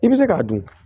I bɛ se k'a dun